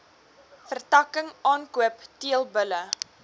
vertakking aankoop teelbulle